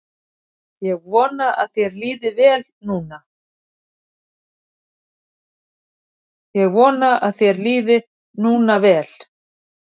Ég vona að þér líði núna vel.